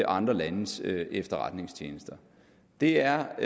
andre landes efterretningstjenester det er